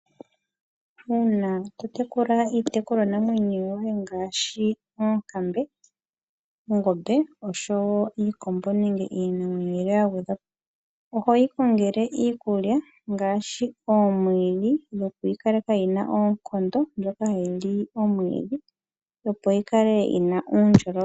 Uuna to tekula iinamwenyo ngaashi oonkambe, noongombwe iikombo nayilwe. Ohoyi kongele iikulya ngaashi ngaashi omwiidhi dhokuyikaleka yina oonkondo ndyoka mbyoka hayi li omwiidhi, noku yikaleka nga yina uundjolowele.